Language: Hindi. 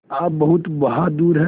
आप बहुत बहादुर हैं